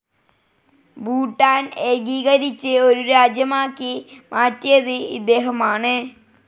ഭൂട്ടാൻ ഏകീകരിച്ച് ഒരു രാജ്യമാക്കി മാറ്റിയത് ഇദ്ദേഹമാണ്.